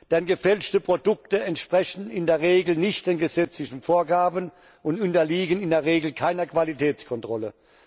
Denn gefälschte Produkte entsprechen in der Regel nicht den gesetzlichen Vorgaben und unterliegen in der Regel keiner Qualitätskontrolle.